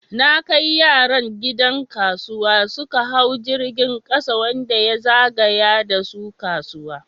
Na kai yaran gidan kasuwa, suka hau jirgin kasa wanda ya zagaya da su kasuwa.